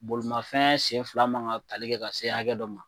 Bolimafɛn sen fila man ka tali kɛ ka se hakɛ dɔ ma